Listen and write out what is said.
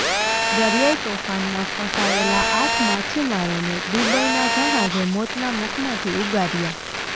દરિયાઈ તોફાનમાં ફસાયેલા આઠ માછીમારોને દુબઈના જહાંજે મોતના મુખમાંથી ઉગાર્યા